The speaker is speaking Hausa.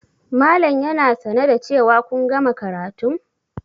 Malam yana sane da cewa kun gama karatun?